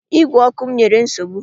Ígwè ọkụ m nyere nsogbu